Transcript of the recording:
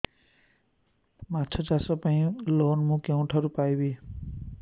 ମାଛ ଚାଷ ପାଇଁ ଲୋନ୍ ମୁଁ କେଉଁଠାରୁ ପାଇପାରିବି